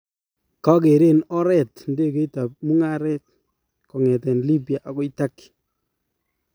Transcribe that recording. kakereen oret indegeit ap mungareet kongeten Libya agoi Turkey